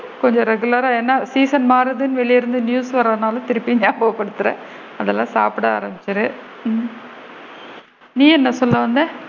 கொஞ்சம் regular ரா ஏன்னா? season மாறுதுன்னு வெளில இருந்து news வரதுனால திருப்பியும் நான் நியாபக படுத்துறேன் அதலா சாப்பிட ஆரம்பிச்சிடு ம் நீ என்ன சொல்ல வந்த?